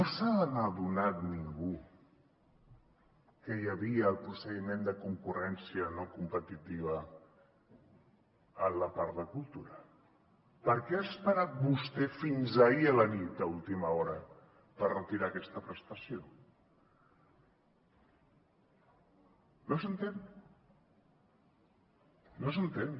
no s’ha adonat ningú que hi havia el procediment de concurrència no competitiva en la part de cultura per què ha esperat vostè fins ahir a la nit a última hora per retirar aquesta prestació no s’entén no s’entén